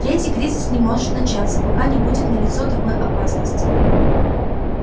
третий кризис не может начаться пока не будет налицо такой опасности